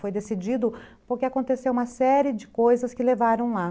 Foi decidido porque aconteceu uma série de coisas que levaram lá.